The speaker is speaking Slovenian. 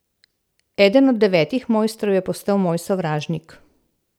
Eden od devetih mojstrov je postal moj sovražnik.